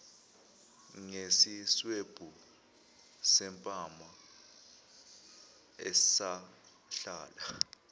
ngesiswebhu sempama esahlala